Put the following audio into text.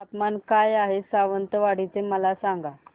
तापमान काय आहे सावंतवाडी चे मला सांगा